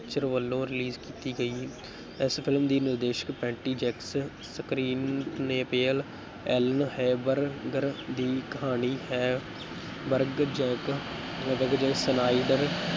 Pictures ਵੱਲੋਂ release ਕੀਤੀ ਗਈ, ਇਸ film ਦੀ ਨਿਰਦੇਸ਼ਕ ਪੈਟੀ ਜੇਂਕਿੰਸ ਐਲਨ ਹੈਂਬਰਗਰ ਦੀ ਕਹਾਣੀ ਹੈਂਬਰਗ ਸਨਾਇਡਰ